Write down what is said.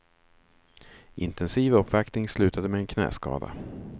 Intensiv uppvaktning slutade med en knäskada.